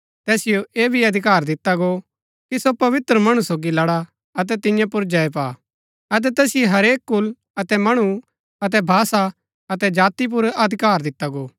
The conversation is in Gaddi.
तैसिओ ऐह भी अधिकार दिता गो कि सो पवित्र मणु सोगी लड़ा अतै तियां पुर जय पा अतै तैसिओ हरेक कुल अतै मणु अतै भाषा अतै जाति पुर अधिकार दिता गो